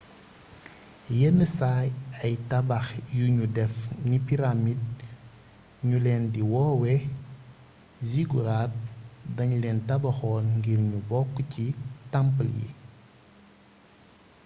yenn saay ay tabax yuñu def ni pyramide ñu leen di woowee zigourats dañ leen tabaxoon ngir ñu bokk ci temple yi